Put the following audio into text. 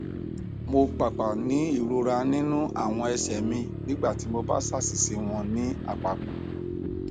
mo paapaa ni irora ninu awọn ẹsẹ mi nigbati mo ba ṣaṣiṣẹ wọn ni apapọ